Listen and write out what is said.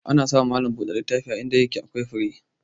Ana samun malam buɗe littafi a inda yake akwai fure.